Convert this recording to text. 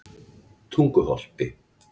Tunguholti